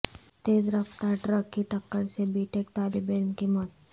تیز رفتار ٹرک کی ٹکر سے بی ٹیک طالب علم کی موت